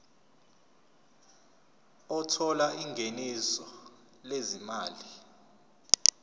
othola ingeniso lezimali